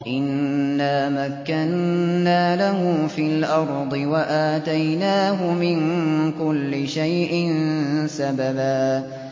إِنَّا مَكَّنَّا لَهُ فِي الْأَرْضِ وَآتَيْنَاهُ مِن كُلِّ شَيْءٍ سَبَبًا